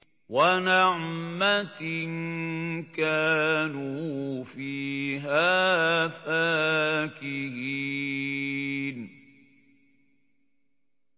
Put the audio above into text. وَنَعْمَةٍ كَانُوا فِيهَا فَاكِهِينَ